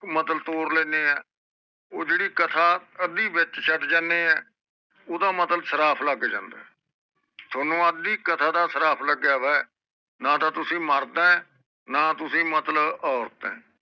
ਮਤਲਬ ਤੌਰ ਲੈਂਦੇ ਹੈ ਉਹ ਜਿਹੜੀ ਕਥਾ ਅੱਧੀ ਵਹਿਚ ਸ਼ਡ ਜਾਂਦੇ ਹੈ ਓਹਦਾ ਮਤਲਬ ਸ਼ਰਾਪ ਲੱਗਿਆ ਲਗ ਜਾਂਦਾ ਆ ਤੁਹਾਨੂੰ ਅੱਧੀ ਕਥਾ ਦਾ ਸ਼ਰਾਪ ਲੱਗਿਆ ਹੋਇਆ ਨਾ ਤਾ ਤੁਸੀਂ ਮਰਦ ਹੈ ਨਾ ਤੁਸੀਂ ਮਤਲਬ ਔਰਤ ਹੈ